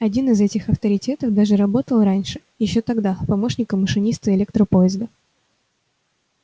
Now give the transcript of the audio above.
один из этих авторитетов даже работал раньше ещё тогда помощником машиниста электропоезда